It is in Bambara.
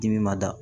Dimi ma da